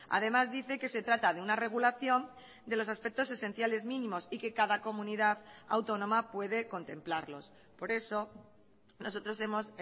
además dice que se trata de una regulación de los aspectos esenciales mínimos y que cada comunidad autónoma puede contemplarlos por eso nosotros hemos